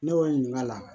Ne b'o ɲininka